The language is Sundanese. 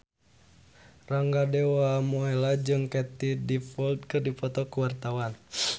Rangga Dewamoela jeung Katie Dippold keur dipoto ku wartawan